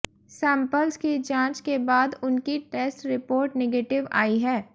samples की जांच के बाद उनकी टेस्ट रिपोर्ट निगेटिव आई है